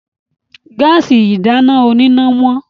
Gáàsì ìdáná oníná wọ́n.